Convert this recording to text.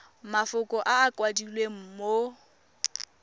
mafoko a a kwadilweng mo